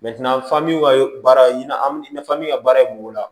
baara ɲina min ka baara ye kungo la